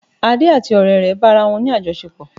Ade àti ọrẹ rẹ bá ara wọ́n ní àjọṣepọ̀